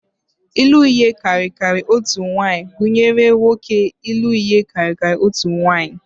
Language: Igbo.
Ịlụ ihe karịrị otu nwaanyị gụnyere nwoke ịlụ ihe karịrị otu nwunye